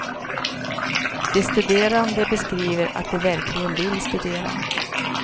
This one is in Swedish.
De studerande beskriver att de verkligen vill studera.